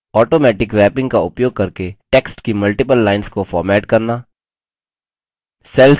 automatic wrapping का उपयोग करके text की multiple lines को फॉर्मेट करना